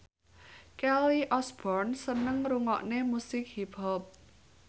Kelly Osbourne seneng ngrungokne musik hip hop